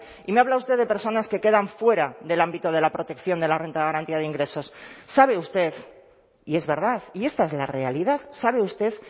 y me habla usted de personas que quedan fuera del ámbito de la protección de la renta de garantía de ingresos sabe usted y es verdad y esta es la realidad sabe usted